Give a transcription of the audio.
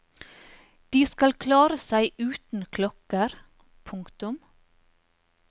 De skal klare seg uten klokker. punktum